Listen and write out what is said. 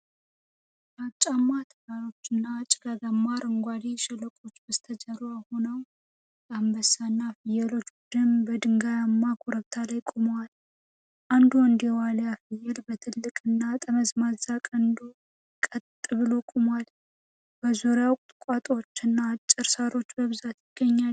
ግራጫማ ተራሮች እና ጭጋጋማ አረንጓዴ ሸለቆዎች በስተጀርባ ሆነው፣ የአንበሳና ፍየሎች ቡድን በድንጋያማ ኮረብታ ላይ ቆመዋል። አንዱ ወንድ የዋሊያ ፍየል በትልቅና ጠመዝማዛ ቀንዱ ቀጥ ብሎ ቆሟል፤ በዙሪያው ቁጥቋጦዎችና አጭር ሳር በብዛት ይገኛሉ።